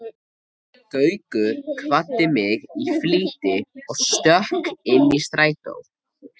Gaukur kvaddi mig í flýti og stökk inn í strætó.